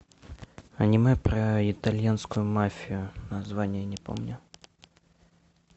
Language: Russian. аниме про итальянскую мафию название не помню